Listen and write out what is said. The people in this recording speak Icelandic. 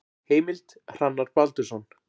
Heimild: Hrannar Baldursson.